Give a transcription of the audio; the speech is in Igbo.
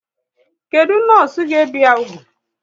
Kedụ nọọsụ ga ebi ya úgwù?